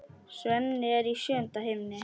Svenni er í sjöunda himni.